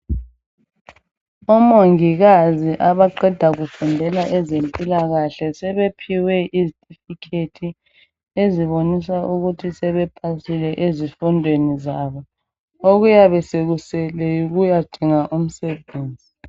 Omongikazi abaqeda kufundela ezempilakahle sebephiwe izethifikhethi, ezibonisa ukuthi sebepasile ezifundweni zabo okuyabe sekusele yikuyadinga umsebenzi.